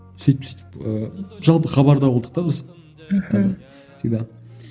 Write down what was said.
сөйтіп сөйтіп ііі жалпы хабарда болдық та біз мхм всегда